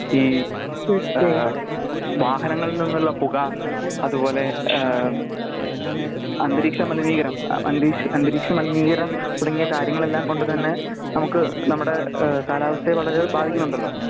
ഈ ഏഹ് വാഹങ്ങളിൽ നിന്നുള്ള പുക അതുപോലെ ഏഹ് അന്തരീക്ഷ മലിനീകരം അന്തരി അന്തരീക്ഷ മലിനീകരം തുടങ്ങിയ കാര്യങ്ങളെല്ലാം കൊണ്ട് തന്നെ നമ്മുക്ക് നമ്മടെ ഏഹ് കാലാവസ്ഥയെ വളരെ ബാധിക്കുന്നണ്ടാലോ